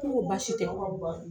K'u ko baasi tɛ